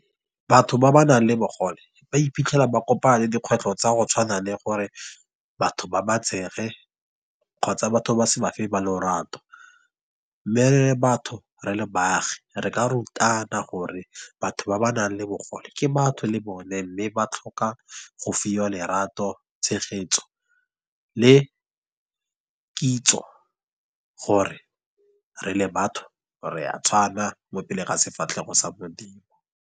Batho ba ba nang le bogole, ba iphitlhela ba kopana le dikgwetlho tsa go tshwana le gore batho ba ba tshege, kgotsa batho ba se ba fe ba lorato. Mme re le batho, re le baagi, re ka rutana gore, batho ba ba nang le bogole, ke batho le bone. Mme ba tlhoka go fiwa lerato, tshegetso, le kitso, gore re le batho re a tshwana, mopele ga sefatlhego sa modimo.